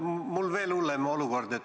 Mul on veel hullem olukord.